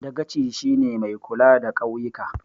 Dagaci shi ne mai kula da ƙauyika